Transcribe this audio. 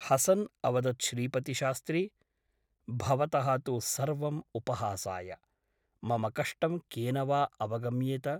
हसन् अवदत् श्रीपतिशास्त्री । भवतः तु सर्वम् उपहासाय । मम कष्टं केन वा अवगम्येत ?